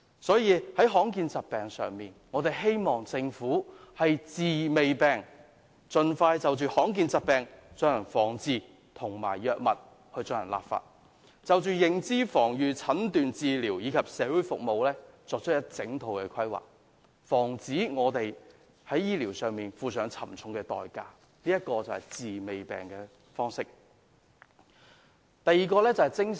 關於罕見疾病，我們希望政府可以"治未病"，盡快就罕見疾病進行防治，以及就藥物進行立法，並就認知、防禦、診斷、治療及社會服務各方面作出完整規劃，防止有人因為醫療措施不足而要付出沉重代價，這便是"治未病"的精神。